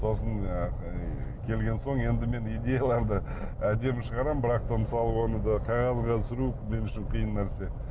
сосын келген соң енді мен идеяларды әдемі шығарамын бірақ та мысалы оны да қағазға түсіру мен үшін қиын нәрсе